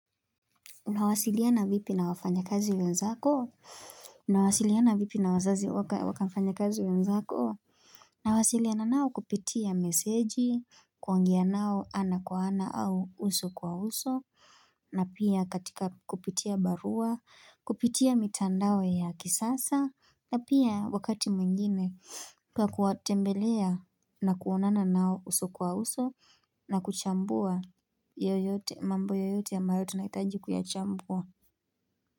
Unawasiliana vipi na wafanyakazi wenzako? Unawasiliana vipi na wazazi waka wafanyakazi wenzako? Nawasiliana nao kupitia meseji, kuongea nao ana kwa ana au uso kwa uso, na pia katika kupitia barua, kupitia mitandao ya kisasa, na pia wakati mwingine kwa kuwatembelea na kuonana nao uso kwa uso, na kuchambua yoyote mambo yoyote ya maritunakitaji kuyachambua.